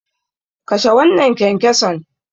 Kashe wannan kyankyason.